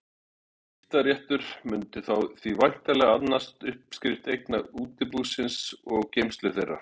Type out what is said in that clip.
Skiptaréttur mundi því væntanlega annast uppskrift eigna útibúsins og geymslu þeirra.